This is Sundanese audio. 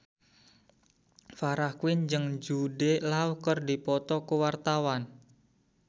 Farah Quinn jeung Jude Law keur dipoto ku wartawan